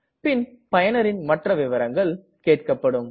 பின் பயனரின் மற்ற விவரங்களுக்கு கேட்கப்படும்